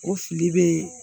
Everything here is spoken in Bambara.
O fili bɛ